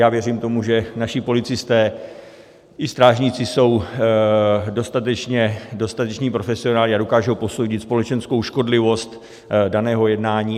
Já věřím tomu, že naši policisté i strážníci jsou dostateční profesionálové a dokážou posoudit společenskou škodlivost daného jednání.